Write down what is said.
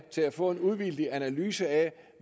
til at få en uvildig analyse af